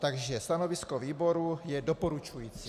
Takže stanovisko výboru je doporučující.